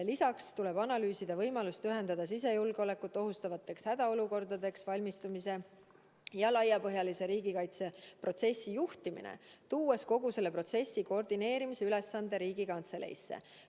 Lisaks tuleb analüüsida võimalust ühendada sisejulgeolekut ohustavateks hädaolukordadeks valmistumise ja laiapõhjalise riigikaitseprotsessi juhtimine, tuues kogu selle protsessi koordineerimise ülesande Riigikantseleisse.